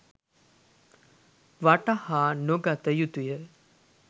වටහානොගත යුතුය.